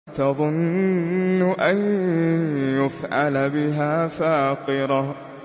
تَظُنُّ أَن يُفْعَلَ بِهَا فَاقِرَةٌ